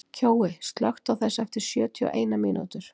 Kjói, slökktu á þessu eftir sjötíu og eina mínútur.